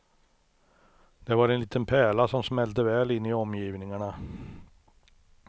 Det var en liten pärla, som smälte väl in i omgivningarna.